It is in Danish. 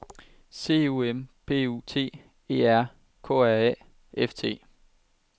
C O M P U T E R K R A F T